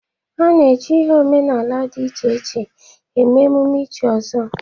Ana eji ihe omenaala dị iche iche eme emume ichi ọzọ.